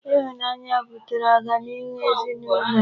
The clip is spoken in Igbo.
Ịhụnanya butere ọganihu ezinụlọ a.